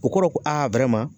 O kɔrɔ ko